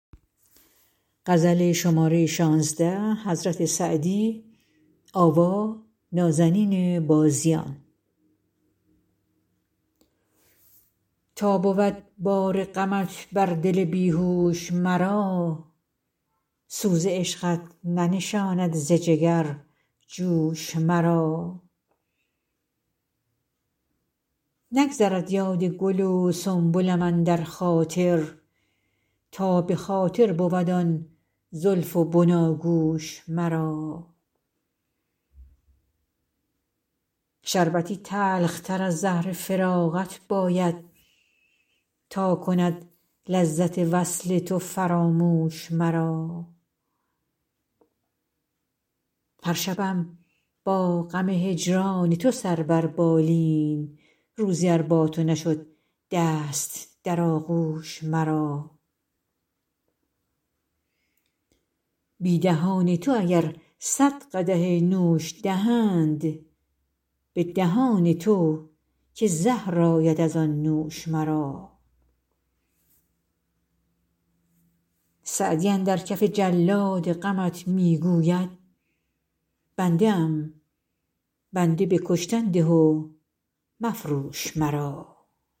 تا بود بار غمت بر دل بی هوش مرا سوز عشقت ننشاند ز جگر جوش مرا نگذرد یاد گل و سنبلم اندر خاطر تا به خاطر بود آن زلف و بناگوش مرا شربتی تلختر از زهر فراقت باید تا کند لذت وصل تو فراموش مرا هر شبم با غم هجران تو سر بر بالین روزی ار با تو نشد دست در آغوش مرا بی دهان تو اگر صد قدح نوش دهند به دهان تو که زهر آید از آن نوش مرا سعدی اندر کف جلاد غمت می گوید بنده ام بنده به کشتن ده و مفروش مرا